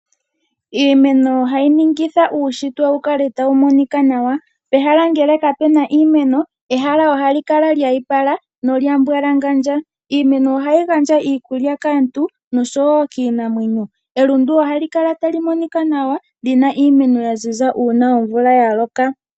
Iimeno oha yi ningitha uushitwe wu kale tawu monika nawa. Pehala ngele kapena iimeno, ehala ohali kala lyiipa nolya mbwalangandja. Iimeno ohayi gandja iikulya kaantu noshowo kiinamwenyo. Elundu ohali kala tali monika nawa lina iimeno ya ziza nawa, una omvula ya loka.